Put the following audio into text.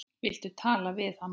Viltu tala við hana?